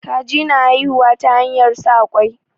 Kaji na haihuwa ta hanyar sa ƙwai.